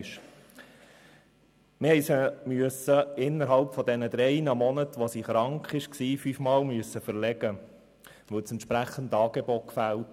Innerhalb der drei Monate, wo sie krank war, mussten wir sie fünfmal verlegen, weil das entsprechende Angebot fehlte.